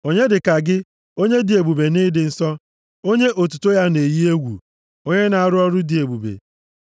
Onye dịka gị Onyenwe anyị, nʼetiti chi niile? Onye dịka gị? Onye dị ebube nʼịdị nsọ. + 15:11 Onye ịdị nsọ ya dị ukwuu Onye otuto ya na-eyi egwu. Onye na-arụ ọrụ dị ebube?